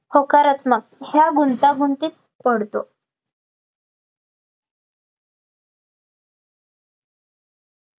होकारात्मक या गुंतागुंतीत पडतो